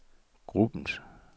gruppens